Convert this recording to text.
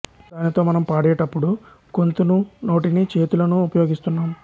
దానితో మనం పాడేటపుడు గొంతు నూ నోటినీ చేతులనూ ఉపయోగిస్తున్నాం